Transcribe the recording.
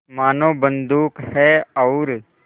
मानो बंदूक है और